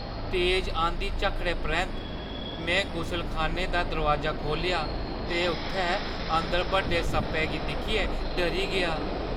तेज अंधी-झक्खड़ै परैंत्त, मैं गुसलखाने दा दरोआजा खोह्ल्ले‌आ ते उत्थै अंदर बड्डे सप्पै गी दिक्खियै डरी गेआ।